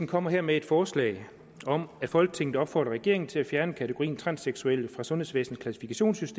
kommer her med et forslag om at folketinget opfordrer regeringen til at fjerne kategorien transseksuelle fra sundhedsvæsenets